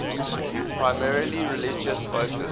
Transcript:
primarily religious focus